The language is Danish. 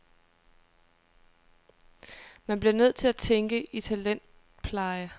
Man bliver nødt til at tænke i talentpleje.